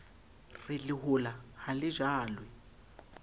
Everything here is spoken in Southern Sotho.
re lehola ha le jalwe